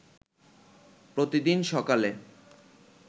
পরদিন সকালে